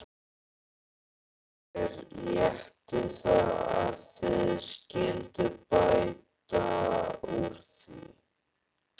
Mér létti að þið skylduð bæta úr því.